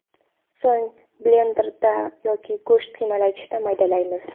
So‘ng blenderda yoki go‘sht qiymalagichda maydalaymiz.